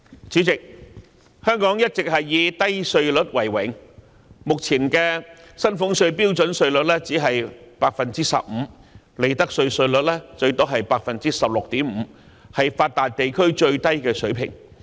主席，香港一直以低稅率為榮，目前的薪俸稅標準稅率只是 15%， 利得稅稅率最多是 16.5%， 是發達地區中最低的水平。